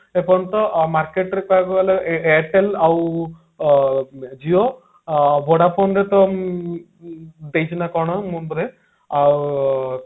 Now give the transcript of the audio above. ଏପର୍ଯ୍ୟନ୍ତ market ରେ କହିବାକୁ ଗଲେ ଏ ଏ airtel ଆଉ ଊ Jio ଅ Vodafone ରେ ତ ଉ ଊ ସେଇସାରିଲା କଣ ଆଉ